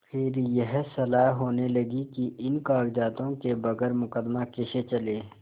फिर यह सलाह होने लगी कि इन कागजातों के बगैर मुकदमा कैसे चले